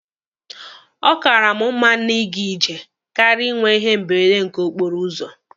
Ọ kaara mụ na iga ije karịa ịnwe ihe mberede nke okporo ụzọ.